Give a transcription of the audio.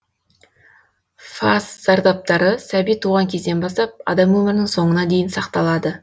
фас зардаптары сәби туған кезден бастап адам өмірінің соңына дейін сақталады